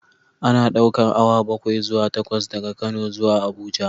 Ana ɗaukar awa bakwai zuwa takwas daga Kano zuwa Abuja